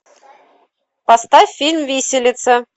поставь фильм виселица